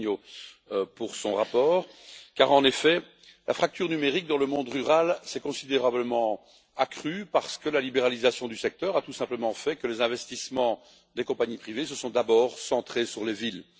Zorrinho pour son rapport car en effet, la fracture numérique dans le monde rural s'est considérablement accrue parce que la libéralisation du secteur a tout simplement fait que les investissements des compagnies privées se sont d'abord centrés sur les villes.